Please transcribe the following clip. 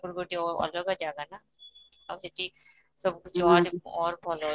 ଗୋଟେ ଅଲଗା ଜଗାଟା ଆଉ ସେଠି ସବୁ ଝିଅ ମାନେ ଔର ଭଲ ଅଛନ୍ତି